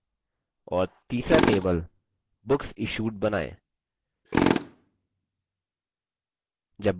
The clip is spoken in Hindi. और तीसरा table books issued बनाएँ